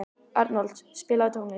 Arnold, spilaðu tónlist.